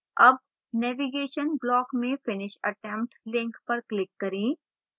अब navigation block में finish attempt link पर click करें